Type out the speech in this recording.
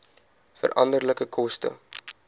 veranderlike koste